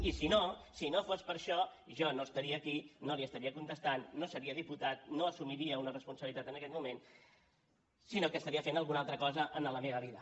i si no si no fos per això jo no estaria aquí no li estaria contestant no seria diputat i no assumiria una responsabilitat en aquest moment sinó que estaria fent alguna altra cosa en la meva vida